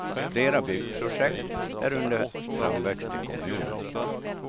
Flera byggprojekt är under framväxt i kommunen.